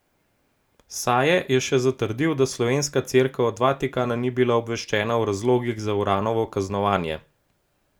Saje je še zatrdil, da slovenska Cerkev od Vatikana ni bila obveščena o razlogih za Uranovo kaznovanje.